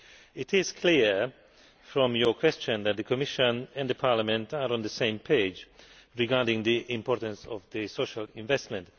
It is clear from your question that the Commission and Parliament are on the same page regarding the importance of social investment.